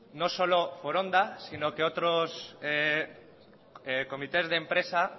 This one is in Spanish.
no solo foronda sino que otros comités de empresa